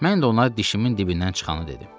Mən də ona dişimin dibindən çıxanı dedim.